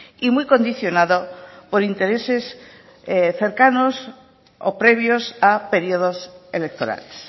y muy condicionado por intereses cercanos o previos a periodos electorales